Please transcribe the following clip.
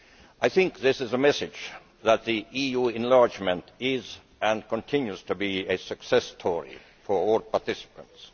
I think this is a message that the EU enlargement is, and continues to be, a success story for all participants.